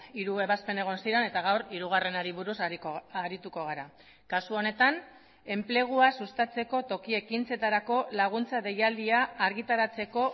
hiru ebazpen egon ziren eta gaur hirugarrenari buruz arituko gara kasu honetan enplegua sustatzeko toki ekintzetarako laguntza deialdia argitaratzeko